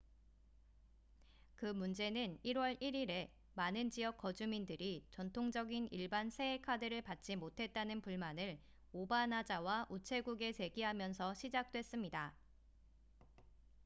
그 문제는 1월 1일에 많은 지역 거주민들이 전통적인 일반 새해 카드를 받지 못했다는 불만을 오바나자와 우체국에 제기하면서 시작됐습니다